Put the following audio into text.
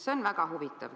See on väga huvitav.